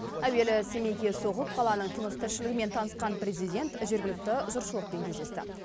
әуелі семейге соғып қаланың тыныс тіршілігімен танысқан президент жергілікті жұртшылықпен кездесті